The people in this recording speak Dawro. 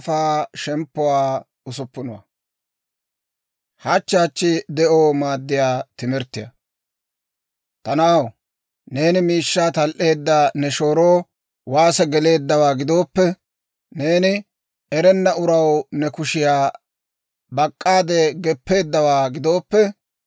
Ta na'aw, neeni miishshaa tal"eedda ne shooroo waase geleeddawaa gidooppe, neeni erenna uraw ne kushiyaa bak'k'aade geppeeddawaa gidooppe,